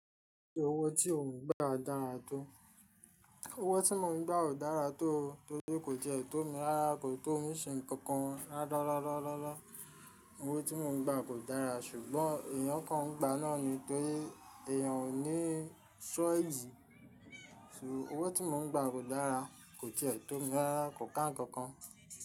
Owó tí mò ń gbà ò dára tó, owó tí mò ń gbà ò dára tó, torí kò ti ẹ tó mi rárá, kò tó mi ṣe nǹkankan ráárárárá. Owó tí mò ń gba kò dára ṣùgbọ́n èèyàn kan ń gba náà ni. Torí èèyàn ò ní sọ́ẹ̀dì. Owó tí mò ń gbà kò dára, kò tilè tómi rárá, kò ká nǹkan kan.